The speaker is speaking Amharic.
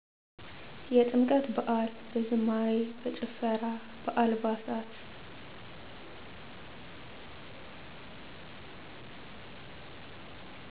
የጥምቀት በዐል። በዝማሬ፣ በጭፈራ፣ በአልባሳት